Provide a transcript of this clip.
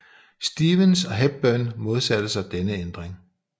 Stevens og Hepburn modsatte sig denne ændring